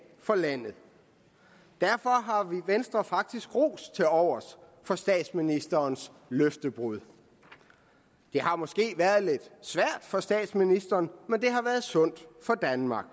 for landet derfor har vi i venstre faktisk ros tilovers for statsministerens løftebrud det har måske været lidt svært for statsministeren men det har været sundt for danmark